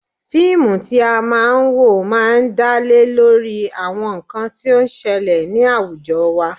Fíìmù tí a máa ń wò máa ń dá lé lórí àwọn nǹkan tí ó ń ṣẹlẹ̀ ni awujọ wa.